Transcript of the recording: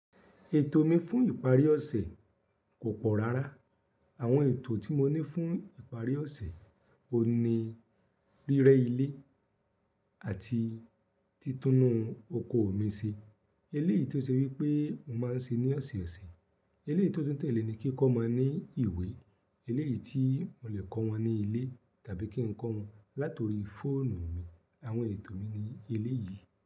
Ètò mi fún ìparí ọ̀sẹ̀ kò pọ̀ rárá. Àwọn ètò tí mo ní fún ìparí ọ̀sẹ̀, òní, rírẹ́ ilé àti títúnun oko mi ṣe. Eléyìí tí ó ṣe wípé mo máa ń ṣe ní ọ̀sọ̀ọ̀sẹ̀, eléyìí tó tún tẹ̀lé ni kí kọ́ omo ní ìwé, eléyìí tí mo le kọ wọn ní ilé tàbí kín kọ́ wọn látori fóònù mi. Àwọn ètò mi ni eléyìí.